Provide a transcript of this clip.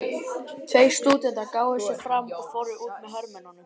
Tveir stúdentar gáfu sig fram og fóru út með hermönnunum.